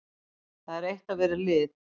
Það er eitt að vera lið.